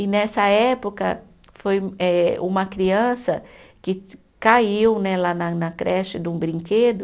E nessa época foi eh, uma criança que caiu né lá na na creche de um brinquedo,